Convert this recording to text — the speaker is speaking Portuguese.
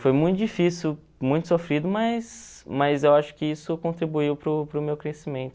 Foi muito difícil, muito sofrido, mas mas eu acho que isso contribuiu para o para o meu crescimento.